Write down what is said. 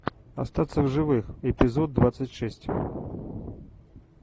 остаться в живых эпизод двадцать шесть